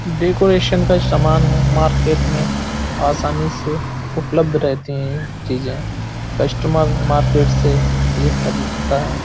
Decoration का सामन है मार्केट में आसानी से उपलब्ध रहती हैं चीज़ेकस्टमर मार्केट से ये खरीदता है।